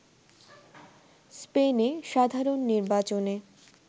স্পেনে সাধারণ নির্বাচনে